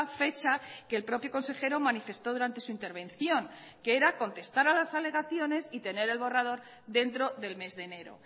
fecha que el propio consejero manifestó durante su intervención que era contestar a las alegaciones y tener el borrador dentro del mes de enero